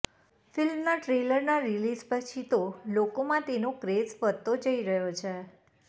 ફિલ્મના ટ્રેલર ના રિલીઝ પછી તો લોકોમાં તેનો ક્રેઝ વધતો જઈ રહ્યો છે